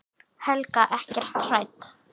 Helga: Ekkert hrædd?